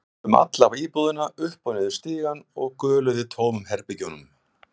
Þau hlupu um alla íbúðina, upp og niður stigann og göluðu í tómum herbergjunum.